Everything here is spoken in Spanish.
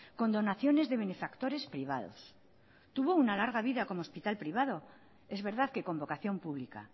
con donaciones de benefactores privados tuvo una larga vida como hospital privado es verdad que con vocación pública